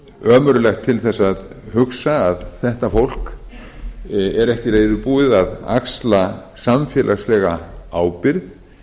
ömurlegt til þess að hugsa að þetta fólk er ekki reiðubúið að axla samfélagslega ábyrgð